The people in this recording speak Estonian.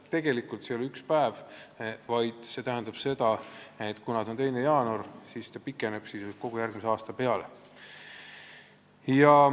Ja tegelikult see ei tähenda ühte päeva – see 2. jaanuar tähendab, et nende andmete kehtivus pikeneb sisuliselt kogu järgmise aasta peale.